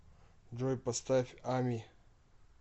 джой поставь ами